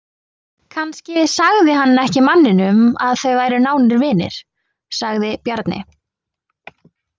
Kannski sagði hann ekki manninum að þau væru nánir vinir, sagði Bjarni.